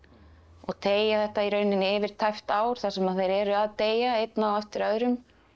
og teygja þetta í rauninni yfir tæpt ár þar sem þeir eru að deyja einn á eftir öðrum